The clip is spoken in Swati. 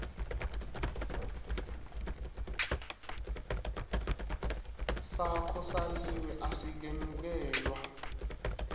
sakho saliwe asikemukelwa